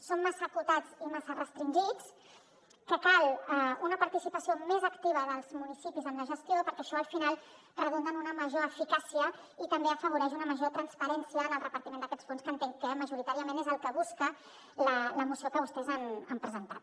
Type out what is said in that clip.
són massa acotats i massa restringits que cal una participació més activa dels municipis en la gestió perquè això al final redunda en una major eficàcia i també afavoreix una major transparència en el repartiment d’aquests fons que entenc que majoritàriament és el que busca la moció que vostès han presentat